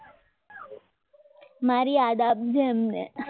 મારી યાદ આપજે એમને